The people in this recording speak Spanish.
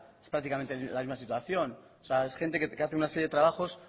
es prácticamente la misma situación o sea es gente que hace una serie de trabajos